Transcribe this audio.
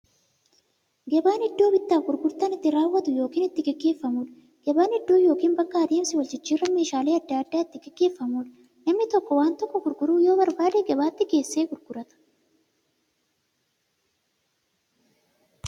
Gabaan iddoo bittaaf gurgurtaan itti raawwatu yookiin itti gaggeeffamuudha. Gabaan iddoo yookiin bakka adeemsa waljijjiiraan meeshaalee adda addaa itti gaggeeffamuudha. Namni tokko waan tokko gurguruu yoo barbaade, gabaatti geessee gurgurata.